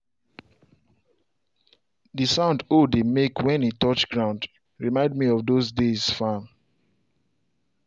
the sound hoe dey make when e touch ground remind me of those days farm.